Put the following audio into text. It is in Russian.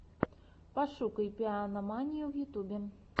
пошукай пианоманию в ютьюбе